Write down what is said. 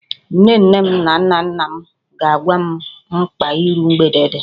Nne nne m na nna nna m ga-agwa m mkpa iru mgbede dị